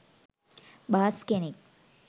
බාස් කෙනෙක්